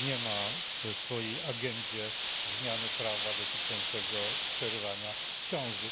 nie ma w swojej agendzie zmiany prawa dotyczącego przerywania ciąży.